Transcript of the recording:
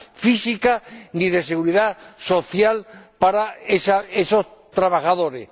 física, ni de seguridad social para esos trabajadores.